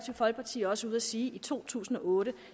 folkeparti også ude at sige i to tusind og otte